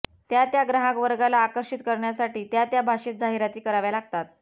त्या त्या ग्राहकवर्गाला आकर्षित करण्यासाठी त्या त्या भाषेत जाहिराती कराव्या लागतात